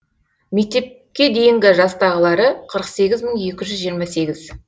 мектепке дейінгі жастағылары қырық сегіз мың екі жүз жиырма сегіз